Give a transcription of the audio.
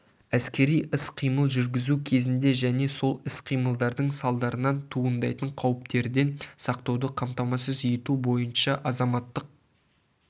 әскери іс-қимыл жүргізу кезінде және сол іс-қимылдардың салдарынан туындайтын қауіптерден сақтауды қамтамасыз ету бойынша азаматтық